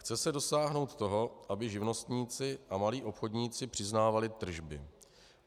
Chce se dosáhnout toho, aby živnostníci a malí obchodníci přiznávali tržby.